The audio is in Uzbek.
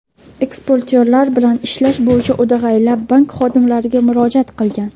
eksportyorlar bilan ishlash bo‘yicha o‘dag‘aylab bank xodimlariga murojaat qilgan.